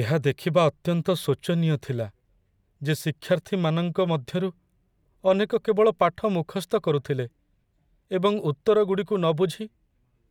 ଏହା ଦେଖିବା ଅତ୍ୟନ୍ତ ଶୋଚନୀୟ ଥିଲା ଯେ ଶିକ୍ଷାର୍ଥୀମାନଙ୍କ ମଧ୍ୟରୁ ଅନେକ କେବଳ ପାଠ ମୁଖସ୍ଥ କରୁଥିଲେ ଏବଂ ଉତ୍ତରଗୁଡ଼ିକୁ ନ ବୁଝି